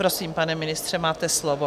Prosím, pane ministře, máte slovo.